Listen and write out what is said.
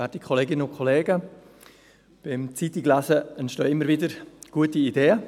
Beim Zeitunglesen entstehen immer wieder gute Ideen.